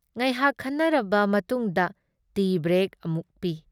ꯉꯥꯏꯍꯥꯛ ꯈꯟꯅꯔꯕ ꯃꯇꯨꯡꯗ ꯇꯤ ꯕ꯭ꯔꯦꯛ ꯑꯃꯨꯛ ꯄꯤ ꯫